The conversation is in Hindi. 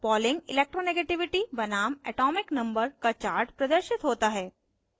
pauling electronegativity बनाम atomic number z का chart प्रदर्शित होता है